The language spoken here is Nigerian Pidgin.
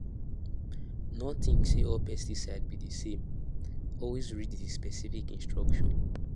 no think say all pesticide be di same always read the specific instruction